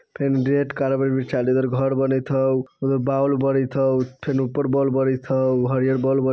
फेन red carpet बिछाएल हे इधर घर बनएत हउ उधर बाउल बरएत हउ फेन ऊपर बाउल बरएत हउ हरिहर बोल ब --